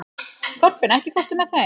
Þorfinna, ekki fórstu með þeim?